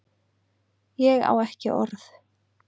Ég á ekki orð